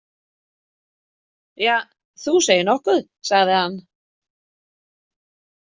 Ja, þú segir nokkuð, sagði hann.